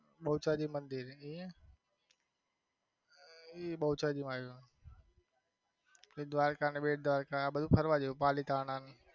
બહુચરાજી મંદિર એ બહુચરાજીમાં આવ્યું દ્વારકા ને બેટદ્વારકા આ બધું ફરવા જેવું પાલીતાણા.